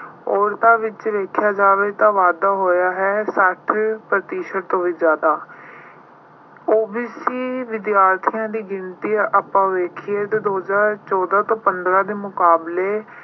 ਔਰਤਾਂ ਵਿੱਚ ਦੇਖਿਆ ਜਾਵੇ ਤਾਂ ਵਾਧਾ ਹੋਇਆ ਹੈ, ਸੱਤ ਪ੍ਰਤੀਸ਼ਤ ਤੋਂ ਵੀ ਜ਼ਿਆਦਾ। OBC ਵਿਦਿਆਰਥੀਆਂ ਦੀ ਗਿਣਤੀ ਆਪਾਂ ਵੇਖੀਏ ਤਾਂ ਦੋ ਹਜ਼ਰ ਚੌਦਾ ਤੇ ਪੰਦਰਾਂ ਦੇ ਮੁਕਾਬਲੇ